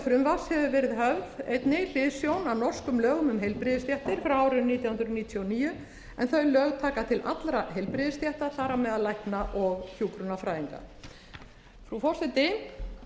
frumvarps hefur höfð einnig hliðsjón af norskum lögum um heilbrigðisstéttar frá árinu nítján hundruð níutíu og níu en þau lög taka til allra heilbrigðisstétta þar á meðal lækna og hjúkrunarfræðinga frú forseti